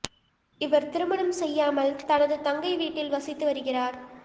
இவர் திருமணம் செய்யாமல் தனது தங்கை வீட்டில் வசித்து வருகிறார்